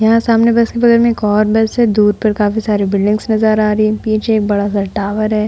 यहाँ सामने बस की बगल में एक और बस है। दूर पर काफी सारी बिल्डिंग्स नज़र आ रही है। पीछे एक बड़ा सा टॉवर है।